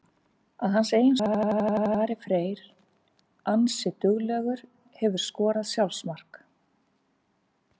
Að hans eigin sögn er Ari Freyr ansi duglegur Hefurðu skorað sjálfsmark?